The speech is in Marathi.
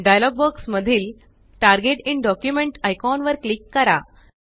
डायलॉग बॉक्स मधील टार्गेट इन डॉक्युमेंट आयकॉन वर क्लिक करा